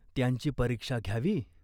त्यांची परीक्षा घ्यावी.